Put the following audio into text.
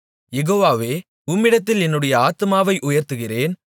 யெகோவாவே உம்மிடத்தில் என்னுடைய ஆத்துமாவை உயர்த்துகிறேன்